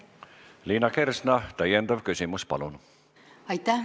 Liina Kersna, täiendav küsimus, palun!